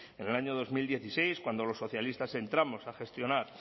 en el año dos mil dieciséis cuando los socialistas entramos a gestionar